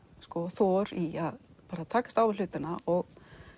þor í að takast á við hlutina og